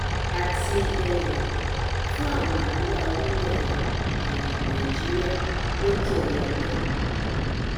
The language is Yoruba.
àti um fún àwọn aríwá orílẹ um nàìjíríà lókè ọya lọhùnún